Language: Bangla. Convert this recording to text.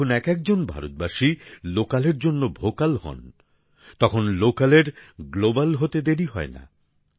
যখন একএকজন ভারতবাসী লোকালের জন্য ভোকাল হন তখন লোকালের গ্লোবাল হতে দেরি হয় না